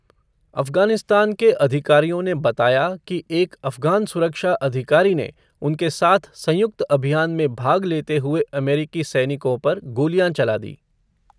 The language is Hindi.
अफगानिस्तान के अधिकारियों ने बताया कि एक अफगान सुरक्षा अधिकारी ने उनके साथ संयुक्त अभियान में भाग लेते हुए अमेरिकी सैनिकों पर गोलियाँ चला दी।